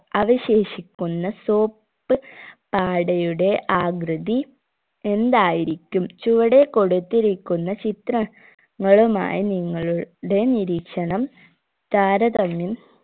അവശേഷിക്കുന്ന soap പാടയുടെ ആകൃതി എന്തായിരിക്കും ചുവടെ കൊടുത്തിരിക്കുന്ന ചിത്ര ങ്ങളുമായി നിങ്ങളു ടെ നിരീക്ഷണം താരതമ്യം